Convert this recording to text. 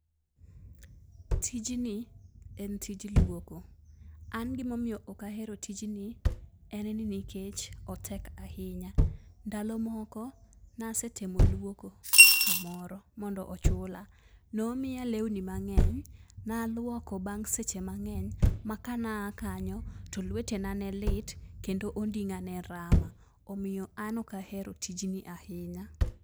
Tijni en tij lwoko. An gimomiyo ok ahero tijni, en ni nikech otek ahinya. Ndalo moko nasetemo lwoko kamoro mondo ochula. Nomiya lewni mang'eny, nalwoko bang' seche mang'eny ma kanaa kanyo to lwetena ne lit kendo onding'a ne rama, omiyo an ok ahero tijni ahinya.